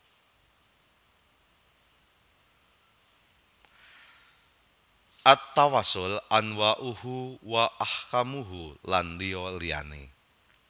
At Tawassul Anwa uhu wa Ahkamuhu lan liya liyane